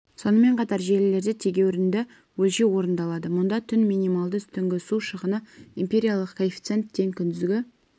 сонымен қатар желілерде тегеурінді өлшеу орындалады мұнда түн минималды түнгі су шығыны эмпириялық коэффициент тең күндізгі